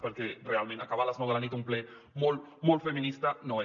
perquè realment acabar a les nou de la nit un ple molt molt feminista no ho és